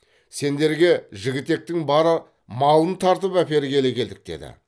сендерге жігітектің бар малын тартып әпергелі келдік деді